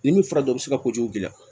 Ni min fara o bɛ se ka kojugu k'i la